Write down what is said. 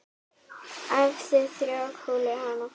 Hæfðu þrjár kúlur hann.